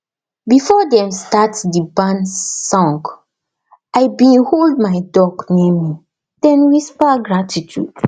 before dem start the barn song i been hold my duck near me den whisper gratitude